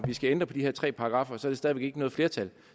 ændre på de her tre paragraffer så er det stadig væk ikke noget flertal